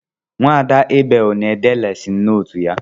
Nwada Abel na-ede lesin notu ya